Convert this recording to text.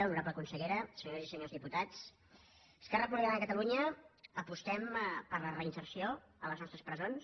honorable consellera senyores i senyors diputats esquerra republicana de catalunya apostem per la reinserció a les nostres presons